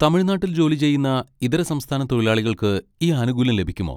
തമിഴ്നാട്ടിൽ ജോലി ചെയ്യുന്ന ഇതര സംസ്ഥാന തൊഴിലാളികൾക്ക് ഈ ആനുകൂല്യം ലഭിക്കുമോ?